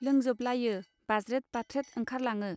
लोंजोबलायो बाज्रेद बाथ्रेद ओंखरलाङो.